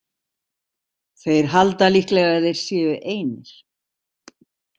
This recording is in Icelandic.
Þeir halda líklega að þeir séu einir.